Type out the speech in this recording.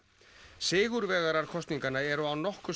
sigurvegarar kosninganna eru án nokkurs